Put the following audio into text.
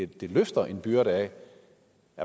det løfter en byrde af